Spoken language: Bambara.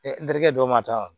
n terikɛ dɔw ma taa